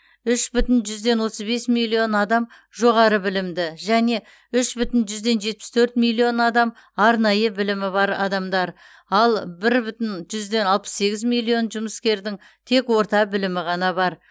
үш бүтін жүзден отыз бес миллион адам жоғары білімді және үш бүтін жүзден жетпіс төрт миллион адам арнайы білімі бар адамдар ал бір бүтін жүзден алпыс сегіз миллион жұмыскердің тек орта білімі ғана бар